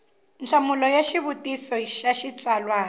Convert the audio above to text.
nhlamulo ya xivutiso xa xitsalwana